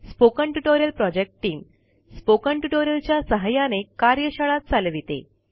spoken tutorial project team spoken tutorial च्या सहाय्याने कार्यशाळा चालविते